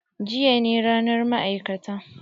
Jiya ne ranar ma'aikata.